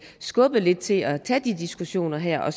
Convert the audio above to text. skubbet lidt til at tage de diskussioner her og